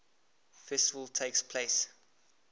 festival takes place